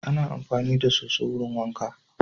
Ana amfani da so_so wurin wanka